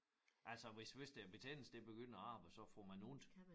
Altså hvis hvis der betændelse det begynder at arbejde så får man ondt